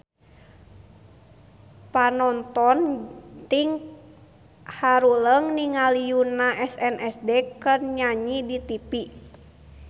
Panonton ting haruleng ningali Yoona SNSD keur nyanyi di tipi